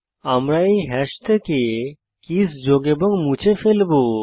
আমরা এই হ্যাশ থেকে কীস যোগ এবং মুছে ফেলবো